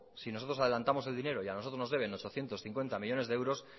si nosotros adelantamos el dinero y a nosotros nos deben ochocientos cincuenta millónes de euros